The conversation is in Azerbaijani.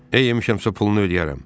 Əyə yemişəmsə, pulunu ödəyərəm.